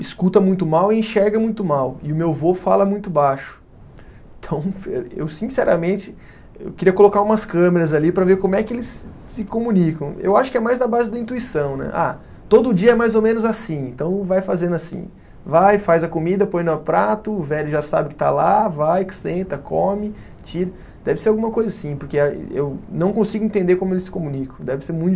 escuta muito mal e enxerga muito mal e o meu vô fala muito baixo então eu sinceramente eu queria colocar umas câmeras ali para ver como é que eles se se comunicam eu acho que é mais da base do intuição né. Ah todo dia mais ou menos assim então vai fazendo assim, vai faz a comida põe no prato, o velho já sabe que está lá, vai que senta come, tira. Deve ser alguma coisa assim porque a eu não consigo entender como eles se comunicam deve ser muito